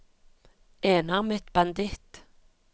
enarmet banditt